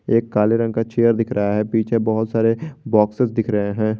एक काले रंग का चेयर दिख रहा है पीछे बहुत सारे बॉक्सेस दिख रहे हैं।